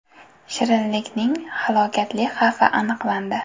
Shirinlikning halokatli xavfi aniqlandi.